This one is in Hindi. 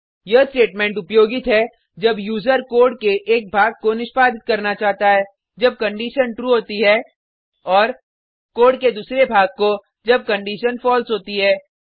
यह स्टेटमेंट उपयोगित है जब यूजर कोड के एक भाग को निष्पादित करना चाहता है जब कंडिशन ट्रू होती है और कोड के दूसरे भाग को जब कंडिशन falseहोती है